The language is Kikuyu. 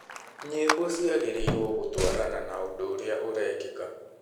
Nyĩmbo ciagĩrĩirwo gũtwarana na ũndũ ũrĩa ũrekĩka. "